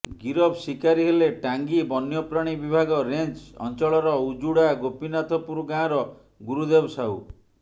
ଗିରଫ ଶିକାରୀ ହେଲେ ଟାଙ୍ଗୀ ବନ୍ୟପ୍ରାଣୀ ବିଭାଗ ରେଞ୍ଜ୍ ଅଞ୍ଚଳର ଉଜୁଡା ଗୋପିନାଥପୁର ଗାଁର ଗୁରୁଦେବ ସାହୁ